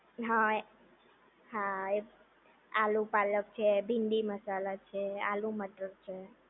હા હા એ આલુ પાલક છે ભીંડી મસાલા છે આલુ મટર છે